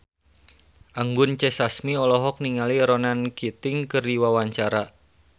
Anggun C. Sasmi olohok ningali Ronan Keating keur diwawancara